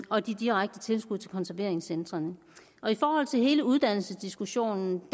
og de direkte tilskud til konserveringscentrene i forhold til hele uddannelsesdiskussionen